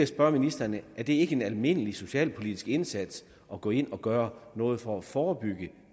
spørge ministeren er det ikke en almindelig socialpolitisk indsats at gå ind og gøre noget for at forebygge